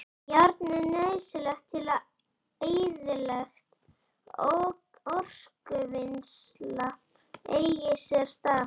Járn er nauðsynlegt til að eðlilegt orkuvinnsla eigi sér stað.